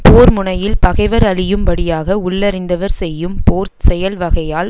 போர் முனையில் பகைவர் அழியும் படியாக உள்ளிருந்தவர்செய்யும் போர் செயல்வகையால்